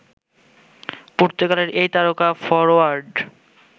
পর্তুগালের এই তারকা ফরোয়ার্ড